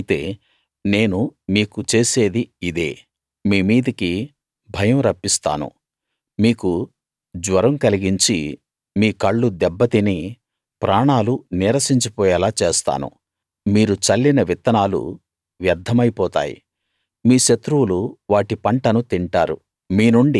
అలాగైతే నేను మీకు చేసేది ఇదే మీమీదికి భయం రప్పిస్తాను మీకు జ్వరం కలిగించి మీ కళ్ళు దెబ్బ తిని ప్రాణాలు నీరసించి పోయేలా చేస్తాను మీరు చల్లిన విత్తనాలు వ్యర్థమైపోతాయి మీ శత్రువులు వాటి పంటను తింటారు